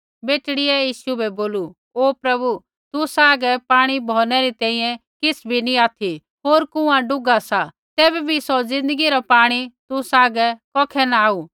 बेटड़ी ऐ यीशु बै बोलू ओ प्रभु तुसा हागै पाणी भौरनै री तैंईंयैं किछ़ भी नी ऑथि होर कुँआ डूग्घा सा तैबै भी सौ ज़िन्दगी रा पाणी तुसा हागै कौखै न आऊ